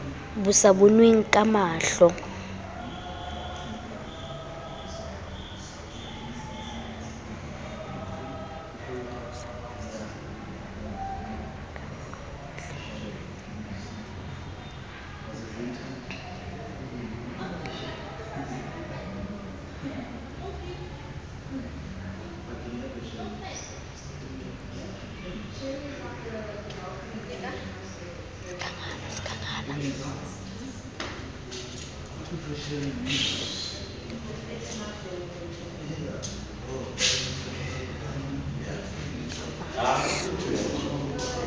bo sa bonweng ka mahlo